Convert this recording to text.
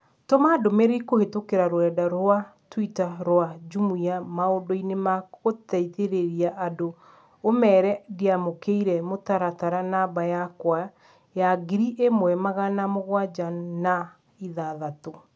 Tũma ndũmĩrĩri kũhĩtũkĩra rũrenda rũa tũita rũa Jumia maũndũ-inĩ ma gũteithĩrĩria andũ ũmeere ndiamũkĩire mũtaratara namba yakwa ya ngiri ĩmwe magana mũgwanja na ithathatũ